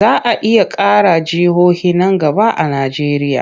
Za a iya ƙara jihohi nan gaba a Najeriya.